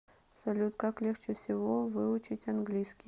салют как легче всего выучить английский